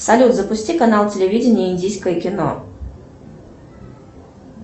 салют запусти канал телевидения индийское кино